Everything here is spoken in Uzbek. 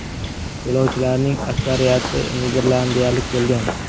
Yo‘lovchilarning aksariyati niderlandiyalik bo‘lgan.